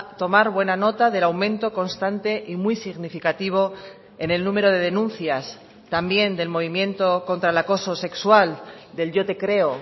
tomar buena nota del aumento constante y muy significativo en el número de denuncias también del movimiento contra el acoso sexual del yo te creo